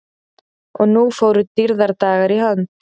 Og nú fóru dýrðardagar í hönd.